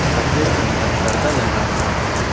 सफेद रंग का पर्दा लगा हुआ है।